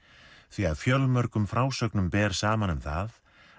því að fjölmörgum frásögnum ber saman um það að